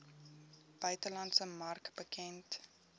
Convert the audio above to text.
buitelandse mark bekend